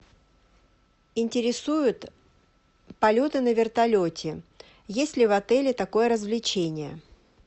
интересуют полеты на вертолете есть ли в отеле такое развлечение